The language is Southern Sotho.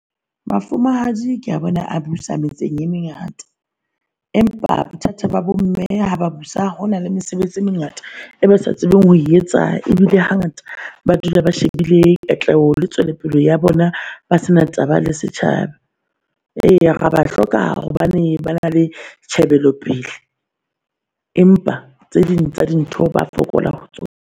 Mafumahadi ke a bona a busa metseng e mengata empa bothata ba bo mme ha ba busa hona le mesebetsi e mengata e sa tsebeng ho etsa ebile hangata ba dula ba shebile katleho le tswelopele ya bona ba sena taba le setjhaba. Ee re ba hloka hobane ba na le tjhebelo pele, empa tse ding tsa dintho ba fokola ho tsona.